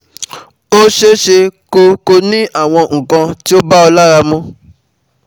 Ó ṣeéṣeeé kó kó o ní awon nǹkan tí ò bá ọ lára mu